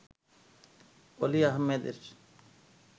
অলি আহমেদের